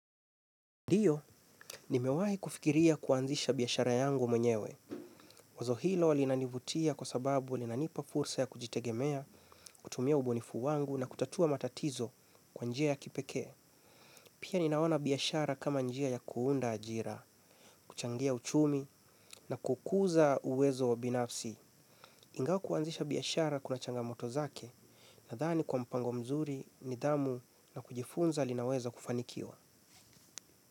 Ndio, nimewahi kufikiria kuanzisha biashara yangu mwenyewe. Wazo hilo linanivutia kwa sababu linanipa fursa ya kujitegemea, kutumia ubunifu wangu na kutatua matatizo kwa njia ya kipekee. Pia ninaona biashara kama njia ya kuunda ajira, kuchangia uchumi na kukuza uwezo binafsi. Ingawa kuanzisha biashara kuna changamoto zake, nadhani kwa mpango mzuri, nidhamu na kujifunza linaweza kufanikiwa.